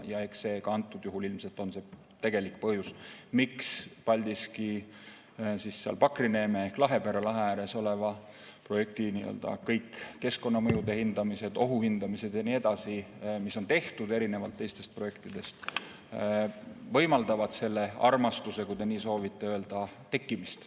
Eks antud juhul ilmselt on just see tegelik põhjus, miks Paldiski kandis, Pakri neeme või Lahepere lahe ääres oleva projekti keskkonnamõjude hindamised, ohuhindamised ja nii edasi, mis on tehtud, erinevalt teistest projektidest võimaldavad selle armastuse, kui te nii soovite öelda, tekkimist.